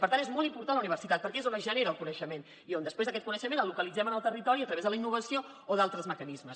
per tant és molt important la universitat perquè és on es genera el coneixement i on després aquest coneixement el localitzem en el territori a través de la innovació o d’altres mecanismes